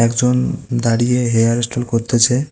একজন দাঁড়িয়ে hair style করতেছে।